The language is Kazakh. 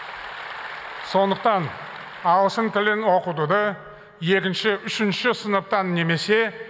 сондықтан ағылшын тілін оқытуды екінші үшінші сыныптан немесе